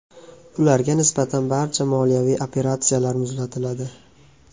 Ularga nisbatan barcha moliyaviy operatsiyalar muzlatiladi.